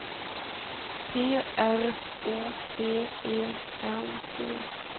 P R O C E N T